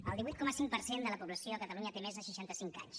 el divuit coma cinc per cent de la població a catalunya té més de seixanta cinc anys